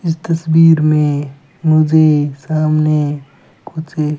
इस तस्वीर में मुझे सामने कुछ --